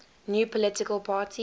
new political party